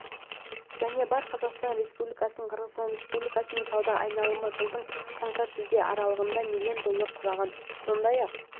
және бар қазақстан республикасының қырғызстан республикасымен сауда айналымы жылдың қаңтар-шілде аралығында миллион долларды құраған сондай-ақ